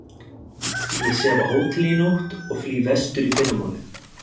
Ég sef á hóteli í nótt og flýg vestur í fyrramálið